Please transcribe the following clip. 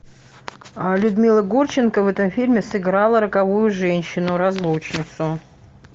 людмила гурченко в этом фильме сыграла роковую женщину разлучницу